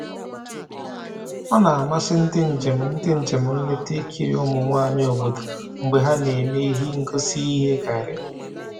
O na-amasị ndị njem ndị njem nleta ikiri ụmụ nwanyị obodo mgbe ha na-eme ihe ngosi iye garri